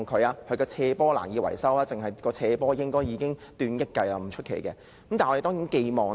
因為它的斜坡難以維修，單單修葺斜坡估計已達億元計也不足為奇。